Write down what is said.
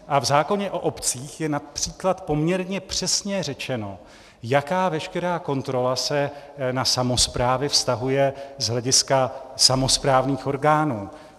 A v zákoně o obcích je například poměrně přesně řečeno, jaká veškerá kontrola se na samosprávy vztahuje z hlediska samosprávných orgánů.